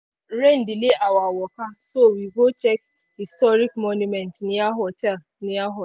rain delay our waka so we go check historic monument near hotel. near.